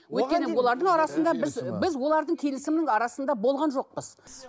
өйткені олардың арасында біз біз олардың келісімінің арасында болған жоқпыз